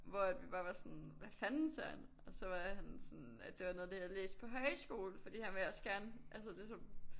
Hvor at vi bare var sådan hvad fanden Søren! Og så var han sådan at det var noget af det jeg havde læst på højskole fordi han ville også gerne altså det så